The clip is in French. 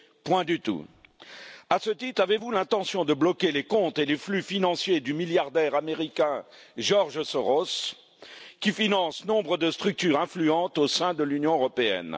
Point du tout. À ce titre, avez vous l'intention de bloquer les comptes et les flux financiers du milliardaire américain George Soros, qui finance nombre de structures influentes au sein de l'Union européenne?